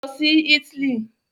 Lọ sí Italy!